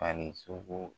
Ani sogo